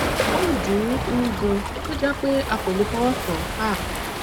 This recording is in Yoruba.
o n dun un gan to je pé a kò lè fọwọ kàn án